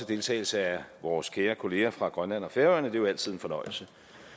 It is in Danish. deltagelse af vores kære kollegaer fra grønland og færøerne det er jo altid en fornøjelse